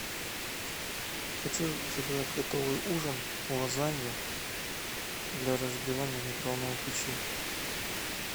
хочу заказать готовый ужин лазанью для разогревания в микроволновой печи